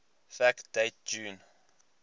fact date june